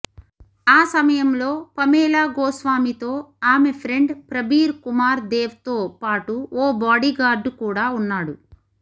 ఆ సమయంలో పమేలా గోస్వామితో ఆమె ఫ్రెండ్ ప్రబీర్ కుమార్ దేవ్తో పాటు ఓ బాడీగార్డు కూడా ఉన్నాడు